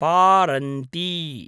पारन्ती